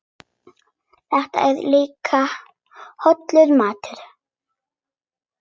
Þetta er líka hollur matur.